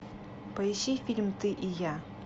поищи фильм ты и я